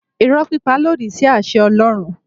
Irọ́ pípa lòdì sí àṣẹ Ọlọ́run.